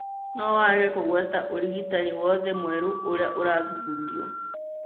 No wage kũgweta ũrigitani wothe mwerũ ũrĩa ũrathuthurio.